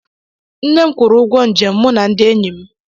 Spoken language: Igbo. Nne m kwụrụ ụgwọ nje mụ na ndị enyi m.